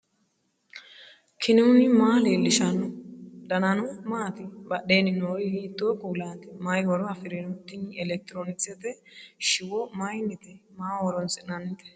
knuni maa leellishanno ? danano maati ? badheenni noori hiitto kuulaati ? mayi horo afirino ? tini elekitiroonkisete shiwo mayinnite maaho horonsi'nannite